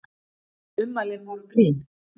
Ummælin voru grín